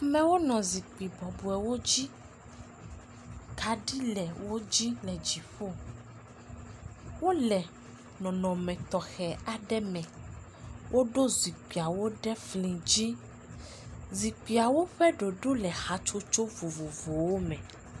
Amewo nɔ zikpui bɔbɔewo dzi, kaɖi le wo dzi le dziƒo, wole nɔnɔme tɔɔe aɖe me woɖo zikpuiwo ɖe fli dzi, zikpuiwo ƒe ɖoɖo le hatsotso vovovowo me.